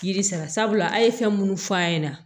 Yiri sara sabula a' ye fɛn minnu fɔ an ɲɛna